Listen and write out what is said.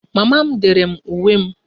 Mama m dere m uwe m